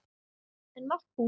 En Markús